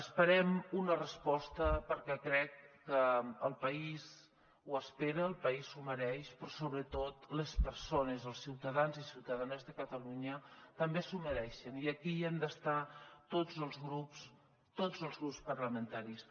esperem una resposta perquè crec que el país ho espera el país s’ho mereix però sobretot les persones els ciutadans i ciutadanes de catalunya també s’ho mereixen i aquí hi han d’estar tots els grups tots els grups parlamentaris